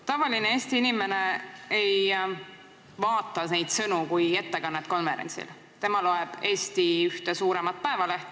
Tavaline Eesti inimene ei vaata neid sõnu kui konverentsi ettekannet, tema loeb Eesti ühte suuremat päevalehte.